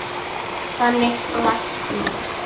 Þannig læknast